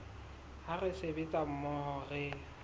ha re sebetsa mmoho re